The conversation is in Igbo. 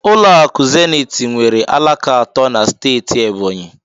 Ụlọ akụ Zenith nwere alaka atọ na steeti Ebonyi